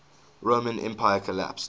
roman empire collapsed